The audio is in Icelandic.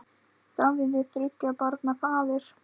Davíð er þriggja barna faðir.